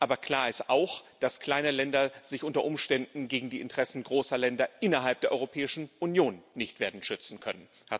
Aber klar ist auch, dass kleine Länder sich unter Umständen gegen die Interessen großer Länder innerhalb der Europäischen Union nicht werden schützen können.